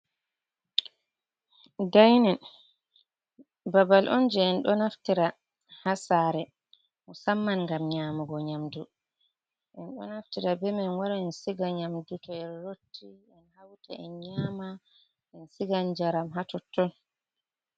Dainin babal on je en ɗo naftira ha sare musamman ngam nyamugo nyamdu en ɗo naftira be man en wara en siga nyamdu to en rotti en hauta en nyama en sigan jaram ha totton.